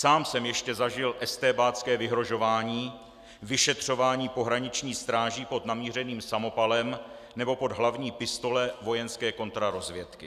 Sám jsem ještě zažil estébácké vyhrožování, vyšetřování pohraniční stráží pod namířeným samopalem nebo pod hlavní pistole vojenské kontrarozvědky.